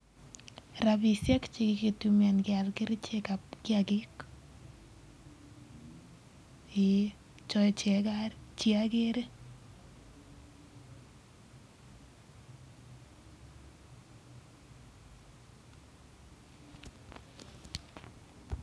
Rabisiek en yu kikiboishe keal kerichek ab kiakik chotok Che agere